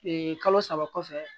kalo saba kɔfɛ